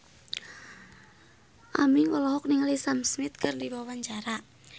Aming olohok ningali Sam Smith keur diwawancara